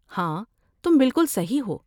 ہاں، تم بالکل صحیح ہو۔